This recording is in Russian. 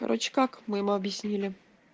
как мы им объяснили